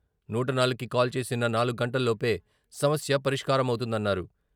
నూట నాలుగుకి కాల్ చేసిన నాలుగు గంటల్లోపే సమస్య పరిష్కారమవుతుందన్నారు.